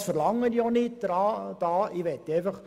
Das verlange ich auch nicht.